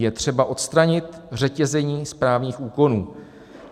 Je třeba odstranit řetězení správních úkonů.